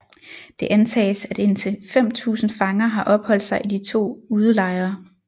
Det antages at indtil 5000 fanger har opholdt sig i de to udelejre